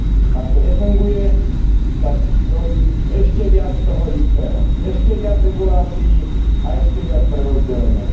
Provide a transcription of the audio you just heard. Ak to nefunguje, tak robí ešte viac toho istého, ešte viac regulácií a ešte viac prerozdelenia.